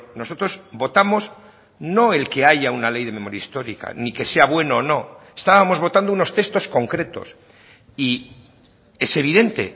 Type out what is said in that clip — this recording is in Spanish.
nosotros votamos no el que haya una ley de memoria histórica ni que sea bueno o no estábamos votando unos textos concretos y es evidente